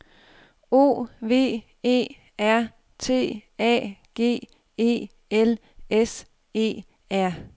O V E R T A G E L S E R